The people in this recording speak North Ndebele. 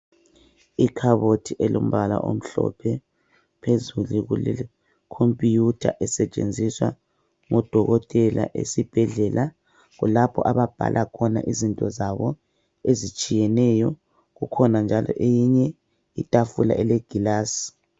Ikhabothi elombala omhlophe phezulu kule computer esetshenziswa ngodokotela esibhedlela kulapho ababhala khona izinto zabo ezitshiyeneyo. Kukhona njalo enye itafula elegilasi.